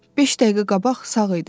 Beş dəqiqə qabaq sağ idi.